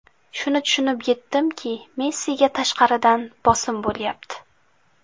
Shuni tushunib yetdimki, Messiga tashqaridan bosim bo‘lyapti.